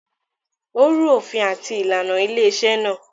Ó rú òfin àti ìlànà ilé-iṣẹ́ náà.